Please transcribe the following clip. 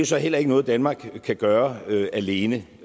så heller ikke noget danmark kan gøre alene